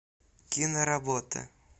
киноработы